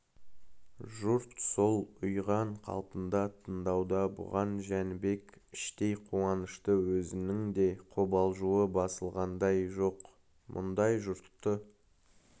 жұрт сол ұйыған қалпында тыңдауда бұған жәнібек іштей қуанышты өзінің де қобалжуы басылғандай жоқ мұндай жұртты